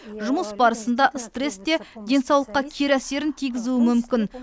жұмыс барысындағы стресс те денсаулыққа кері әсерін тигізуі мүмкін